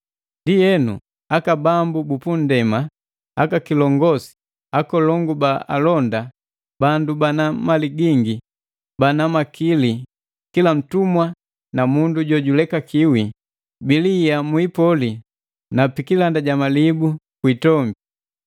Ndienu, aka bambu bu punndema, akakilongosi, akolongu ba alonda, bandu bana mali gingi, bana makili, kila ntumwa na mundu jo julekakiwi, bilihia mu ipoli na pikilanda jamalibu ku itombi.